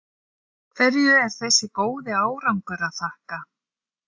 Hverju er þessi góði árangur að þakka?